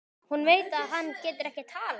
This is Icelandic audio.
Hún veit að hann getur ekki talað.